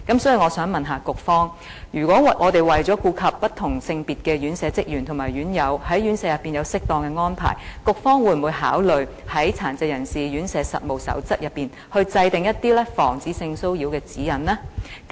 所以，我想問局方，為了顧及不同性別的院舍職員及院友在院舍裏有適當的安排，局方會否考慮在《殘疾人士院舍實務守則》內制訂一些防止性騷擾的指引呢？